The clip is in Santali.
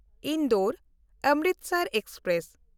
ᱤᱱᱫᱳᱨ-ᱚᱢᱨᱤᱥᱚᱨ ᱮᱠᱥᱯᱨᱮᱥ